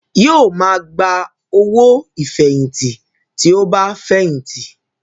Yóò máa gba owó ìfẹ̀yìntì tí ó bá fẹ̀yìntì